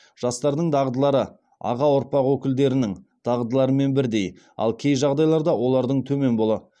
жастардың дағдылары аға ұрпақ өкілдерінің дағдыларымен бірдей ал кей жағдайларда олардан төмен болды